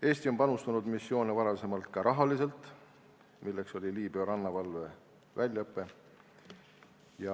Eesti on panustanud missioone varasemalt ka rahaliselt, näiteks Liibüa rannavalve väljaõpe.